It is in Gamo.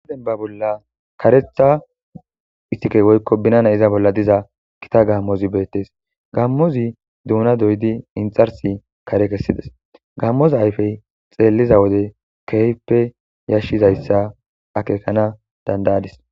demba bolla karetha istikey woykko binana iza bolla diza kita gaammozi beettes gammozi duuna doydi inxarsi kare kessides gaammoza ayfey xeelliza wode kehippe yashshizayssa akekana dandayadis